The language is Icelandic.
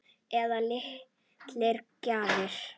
Eða litlar gjafir.